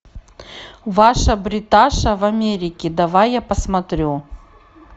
ваша бриташа в америке давай я посмотрю